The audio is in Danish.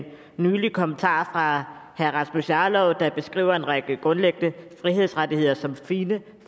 nylig kommentar fra herre rasmus jarlov der beskriver en række grundlæggende frihedsrettigheder som fine